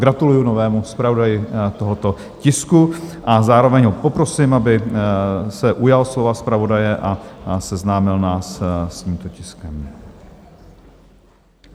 Gratuluji novému zpravodaji tohoto tisku a zároveň ho poprosím, aby se ujal slova zpravodaje a seznámil nás s tímto tiskem.